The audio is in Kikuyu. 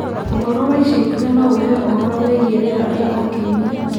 Ũhoro wa ica ikuhĩ no ũheo ũhoro wĩgiĩ rĩera rĩa o kiumia